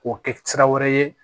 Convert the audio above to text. K'o kɛ sira wɛrɛ ye